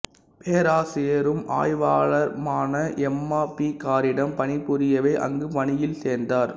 பேராசிரியரும் ஆய்வாளருமான்ன Emma P காரிடம் பணிபுரியவே அங்கு பணியில் சேர்ந்தார்